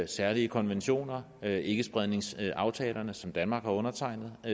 særlige konventioner der er ikkespredningsaftalerne som danmark har undertegnet og